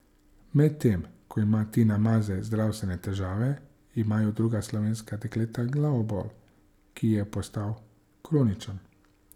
Medtem ko ima Tina Maze zdravstvene težave, imajo druga slovenska dekleta glavobol, ki je postal kroničen.